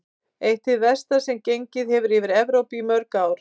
Eitt hið versta sem gengið hefur yfir Evrópu í mörg ár.